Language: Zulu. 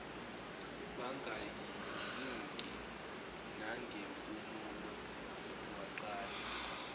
bangayinuki nangempumulo waqala